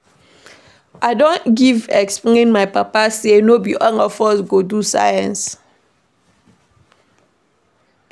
I don explain give my papa sey no be all of us go do Science.